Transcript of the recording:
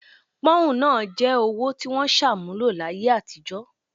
Pọ́ùn náà jẹ́ owó tí wọ́n ṣàmúlò láyé àtijọ́